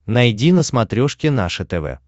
найди на смотрешке наше тв